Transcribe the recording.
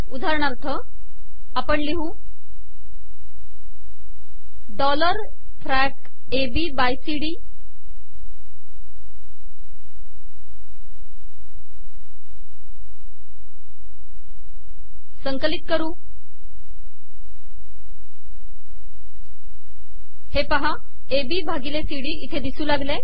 उदाहरणाथर आपण िलहू डॉलर फॅक एबी बाय सी डी हे पहा एबी भािगले सीडी इथे िदसू लागले